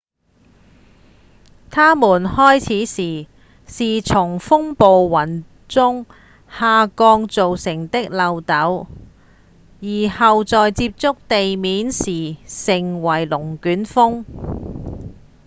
它們開始時是從風暴雲中下降造成的漏斗而後在接觸地面時成為「龍捲風」